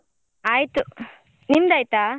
ಆಯ್ತು ನಿಂದ್ ಆಯ್ತಾ?